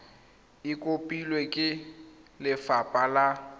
e kopilwe ke lefapha la